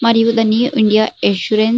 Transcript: మరియు the new India assurance --